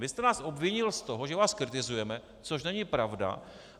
Vy jste nás obvinil z toho, že vás kritizujeme, což není pravda.